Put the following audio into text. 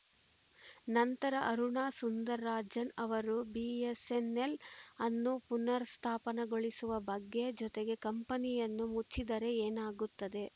ನಂತರ ಅರುಣಾ ಸುಂದರರಾಜನ್‌ ಅವರು ಬಿಎಸ್‌ಎನ್‌ಎಲ್‌ ಅನ್ನು ಪುನರುತ್ಥಾನಗೊಳಿಸುವ ಬಗ್ಗೆ ಜೊತೆಗೆ ಕಂಪನಿಯನ್ನು ಮುಚ್ಚಿದರೆ ಏನಾಗುತ್ತದೆ